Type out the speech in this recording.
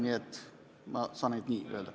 Nii et ma saan ainult nii öelda.